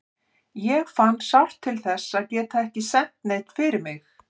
Ég fann sárt til þess að geta ekki sent neinn fyrir mig.